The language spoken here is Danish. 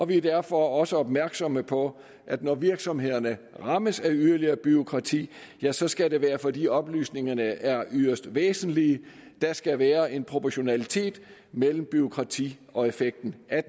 vi er derfor også opmærksomme på at når virksomhederne rammes af yderligere bureaukrati ja så skal det være fordi oplysningerne er yderst væsentlige der skal være en proportionalitet mellem bureaukratiet og effekten af